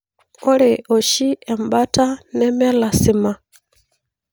Ore oshi embata nemelasima.